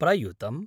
प्रयुतम्